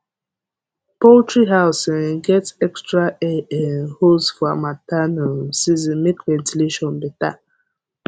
poultry house um get extra air um holes for harmattan um season make ventilation better